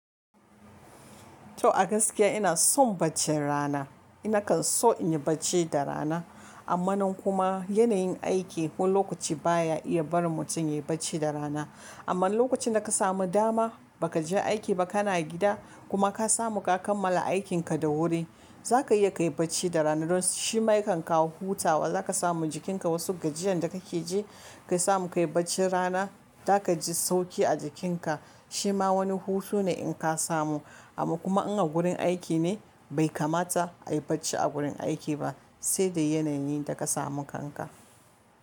To a gaskiya ina son baccin rana. Nakan so inyi bacci da rana, amma nan kuma yanayin aiki wani lokaci baya iya barin mutum ya yi bacci da rana. Amma lokacin da ka samu dama ba ka je aiki ba kana gida kuma ka samu ka kammala aikinka da wuri, zaka iya kayi bacci da rana. Don shima yakan kawo hutawa. Zaka samu jikinka wasu gajiyan da ka mke ji, ka samu kayi bacci rana zaka ji sauki a jikinka. Shima wani hutu ne in ka samu. Amma kuma in a gurin aiki ne bai kamata a yi bacci a gurin aiki ba, sai da yanayin inda ka samu kanka.